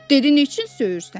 Dedi: Nə üçün söyürsən?